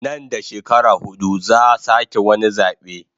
Nan da shekara hudu zaa sake wani zabe